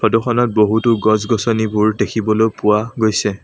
Photo খনত বহুতো গছ-গছনিবোৰ দেখিবলৈ পোৱা গৈছে।